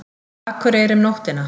Akureyri um nóttina.